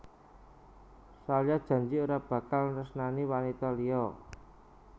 Salya janji ora bakal nresnani wanita liya